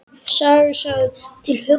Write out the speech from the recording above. Saga sögð til huggunar hinum hýddu.